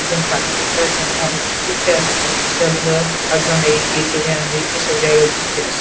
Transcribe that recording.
কেউ পাটি করতে আসে এবং অনেকে ঘুতে আসে পঁচিশ ও তেইস শে জানুয়ারি এইসব জায়গায় ঘুরতে আসে।